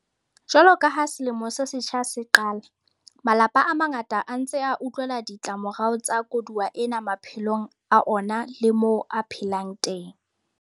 Jwalo ka ha selemo se setjha se qala, malapa a mangata a ntse a utlwela ditlamorao tsa koduwa ena maphelong a ona le moo a phelang teng.